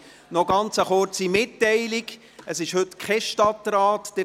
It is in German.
Eine ganz kurze Mitteilung noch: Heute findet keine Stadtratssitzung statt.